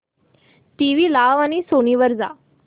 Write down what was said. TV लाव आणि Sony वर जा